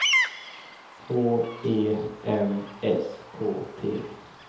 H E M S K T